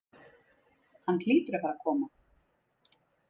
Hann hlýtur að fara að koma.